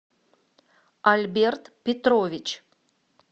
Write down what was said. альберт петрович